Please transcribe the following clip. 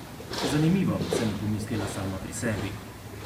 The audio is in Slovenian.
Zanimivo, sem pomislila sama pri sebi.